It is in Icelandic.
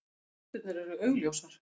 Rústirnar eru augljósar.